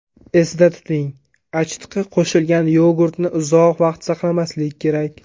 Esda tuting: Achitqi qo‘shilgan yogurtni uzoq vaqt saqlamaslik kerak.